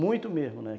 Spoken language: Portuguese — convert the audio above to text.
Muito mesmo, né?